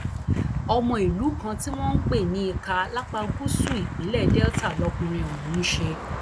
ọmọ ìlú kan tí wọn ń pè ní ika lápá gúúsù ìpínlẹ delta lọkùnrin ọhún ń ṣe